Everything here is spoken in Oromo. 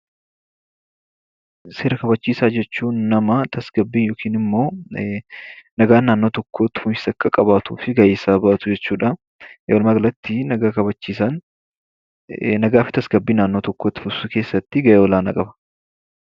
Seera hubachiisaa jechuun nama tasgabbii yookiin immoo nagaan naannoo tokkoo itti fufiinsa Akka qabaatuuf gaheesaa bahatu jechuudha. Walumaa galatti nagaa kabachiisa. Nagaa fi tasgabbii naannoo tokkoo itti fufsiisuu keessatti gahee olaanaa qaba.